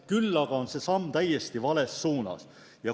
Küll aga on see samm täiesti vales suunas.